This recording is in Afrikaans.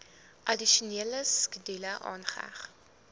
addisionele skedule aangeheg